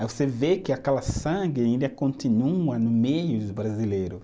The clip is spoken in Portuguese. Aí você vê que aquela sangue ainda continua no meio dos brasileiro